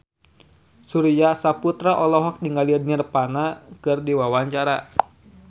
Surya Saputra olohok ningali Nirvana keur diwawancara